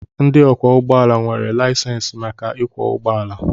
Ndị ọkwọ ụgbọala nwere laịsensị maka ịkwọ ụgbọala.